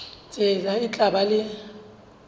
tsela e tla ba le